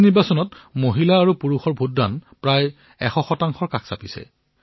এই নিৰ্বাচনত মহিলা আৰু পুৰুষসকলৰ ভোটদানৰ সংখ্যা প্ৰায় সমান আছিল